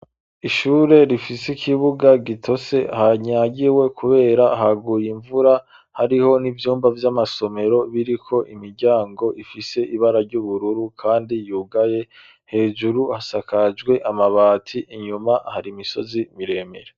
Ishure rifise ikibuga gitose hanyagiwe kubera haguye imvura hariho n'ivyumba vy'amasomero biriko imiryango ifise ibara ry'ubururu kandi yugaye hejuru hasakajwe amabati inyuma hari imisozi miremere.